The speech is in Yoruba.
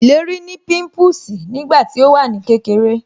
Ìlérí ní pimpusi nígbà tí ó wà ní kékeré